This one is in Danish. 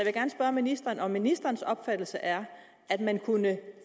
jeg ministeren om ministerens opfattelse er at man kunne